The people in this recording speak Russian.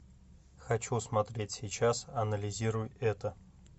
хочу смотреть сейчас анализируй это